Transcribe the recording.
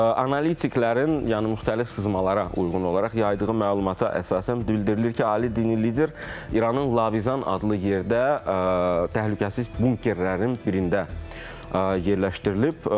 Analitiklərin, yəni müxtəlif sızmalara uyğun olaraq yaydığı məlumata əsasən bildirilir ki, ali dini lider İranın Lavizan adlı yerdə təhlükəsiz bunkerlərinin birində yerləşdirilib.